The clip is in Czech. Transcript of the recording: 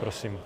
Prosím.